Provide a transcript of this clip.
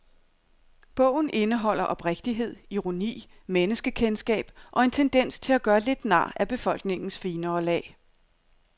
Bogen indeholder oprigtighed, ironi, menneskekendskab og en tendens til at gøre lidt nar af befolkningens finere lag.